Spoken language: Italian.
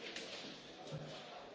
Cari colleghi,